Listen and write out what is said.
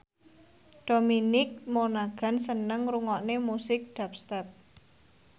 Dominic Monaghan seneng ngrungokne musik dubstep